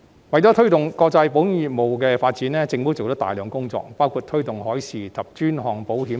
為推動國際保險業務的發展，政府做了大量工作，包括推動海事及專項保險等。